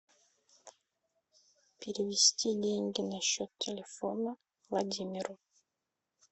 перевести деньги на счет телефона владимиру